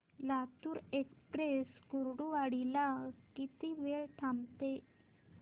Latur express Kurduwadi ला किती वेळ थांबते